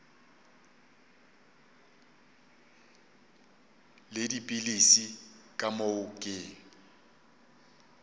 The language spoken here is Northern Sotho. le dipilisi ka moo ke